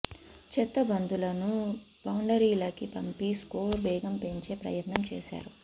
చెత్త బంతులను బౌండరీలకి పంపి స్కోర్ వేగం పెంచే ప్రయత్నం చేసారు